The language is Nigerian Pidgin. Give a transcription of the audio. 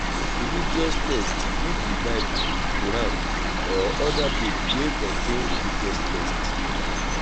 religious text fit be bible quran or oda book wey contain religious things